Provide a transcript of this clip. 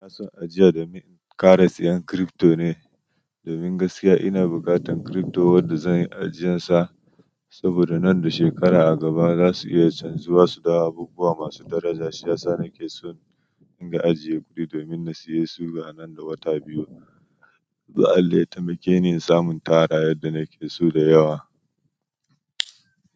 Ina son ajiya domin ƙara sayan crypto ne, domin gaskiya ina buƙatan crypto wanda zan yi ajiyarsa, saboda nan da shekara a gaba za su iya canzuwa su da abubuwa masu daraja. Shi yasa nakeso in dinga ajiye kuɗi domin nasayesu zuwa nan da wata biyu ko Allah zai taimake ni in samu intara yadda nakeso da yawa.